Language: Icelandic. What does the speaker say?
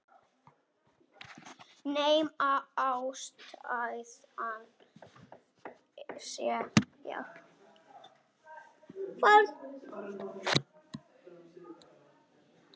Nema ástæðan sé ég.